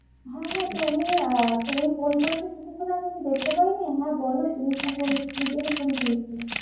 হ্যাঁ হ্যাঁ তুমি আহ তুমি ফোন করেছো কিছুক্ষন আগে দেখতে পাইনি। হ্যাঁ বলো তুমি কি জন্য ফোন করেছিলে?